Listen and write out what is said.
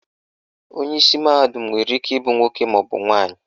Onyeisi mahadum nwere ike ịbụ nwoke maọbụ nwaanyị